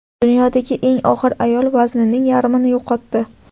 Dunyodagi eng og‘ir ayol vaznining yarmini yo‘qotdi .